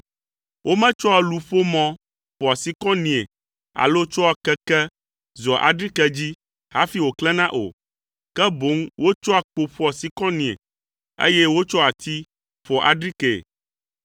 Wometsɔa luƒomɔ ƒoa sikɔnie alo tsɔa keke zɔa adrike dzi hafi woklẽna o, ke boŋ wotsɔa kpo ƒoa sikɔnie, eye wotsɔa ati ƒoa adrikee.